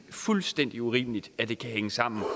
fuldstændig urimeligt at det kan hænge sammen